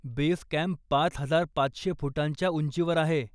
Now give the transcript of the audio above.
Base camp पाच हजार पाचशे फुटांच्या उंचीवर आहे.